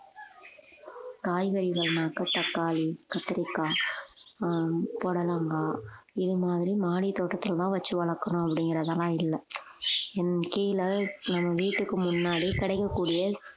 காய்கறிகள்னாக்க தக்காளி கத்திரிக்காய் ஆஹ் புடலங்காய் இது மாதிரி மாடித்தோட்டத்துல தான் வச்சு வளர்க்கிறோம் அப்படிங்கிறதெல்லாம் இல்லை என் கீழே என் வீட்டுக்கு முன்னாடி கிடைக்கக்கூடிய